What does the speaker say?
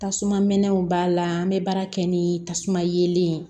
Tasuma mɛnɛnw b'a la an bɛ baara kɛ ni tasuma yelen